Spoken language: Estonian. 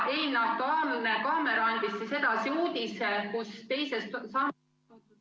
Eilne "Aktuaalne kaamera" andis edasi uudise, kus teisest sambast ...